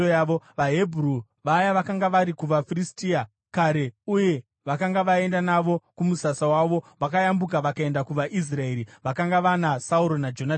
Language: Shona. VaHebheru vaya vakanga vari kuvaFiristia kare uye vakanga vaenda navo kumusasa wavo vakayambuka vakaenda kuvaIsraeri vakanga vana Sauro naJonatani.